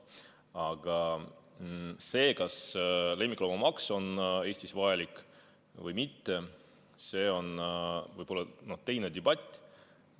Aga see, kas lemmikloomamaks on Eestis vajalik või mitte, on teine debatt.